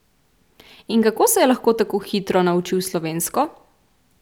In kako se je lahko tako hitro naučil slovensko?